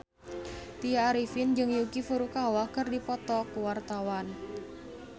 Tya Arifin jeung Yuki Furukawa keur dipoto ku wartawan